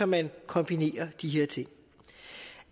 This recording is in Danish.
man kombinerer de her ting